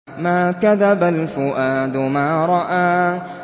مَا كَذَبَ الْفُؤَادُ مَا رَأَىٰ